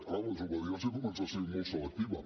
clar la desobediència comença a ser molt selectiva